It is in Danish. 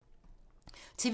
TV 2